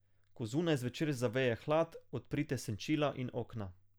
Ko zunaj zvečer zaveje hlad, odprite senčila in okna.